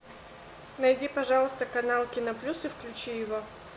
найди пожалуйста канал кино плюс и включи его